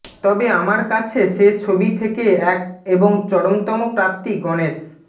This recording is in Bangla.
তবে আমার কাছে সে ছবি থেকে এক এবং চরমতম প্রাপ্তি গণেশ